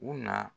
U na